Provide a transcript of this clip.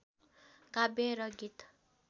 काव्य र गीत